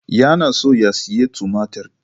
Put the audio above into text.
Yana so ya sayi tumatir.